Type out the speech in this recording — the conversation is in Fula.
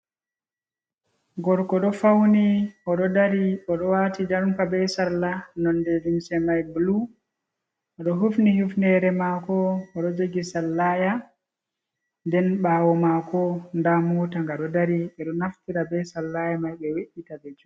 Gorko ɗo fawni o ɗo dari, o ɗo waati jompa be salla, nonde limse may bulu, o ɗo hufni hufneere maako, o ɗo jogi sallaya. Nden ɓaawo maako, ndaa moota nga ɗo dari, ɓe ɗo naftira be sallaya may, be we’’ita ɓe juula.